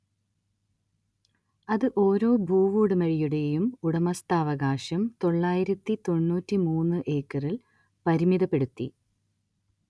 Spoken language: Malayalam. അത് ഓരോ ഭൂവുടമയുടെയും ഉടമസ്ഥാവകാശം തൊള്ളായിരത്തി തൊണ്ണൂറ്റി മൂന്ന് ഏക്കറിൽ പരിമിതപ്പെടുത്തി